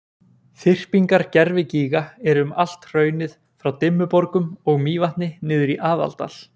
Þyrpingar gervigíga eru um allt hraunið frá Dimmuborgum og Mývatni niður í Aðaldal.